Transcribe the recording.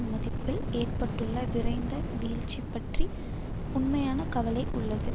மதிப்பில் ஏற்பட்டுள்ள விரைந்த வீழ்ச்சி பற்றி உண்மையான கவலை உள்ளது